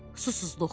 Susuzluq.